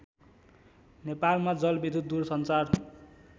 नेपालमा जलविद्युत दुरसञ्चार